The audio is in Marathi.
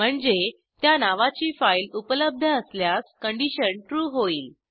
म्हणजे त्या नावाची फाईल उपलब्ध असल्यास कंडिशन ट्रू होईल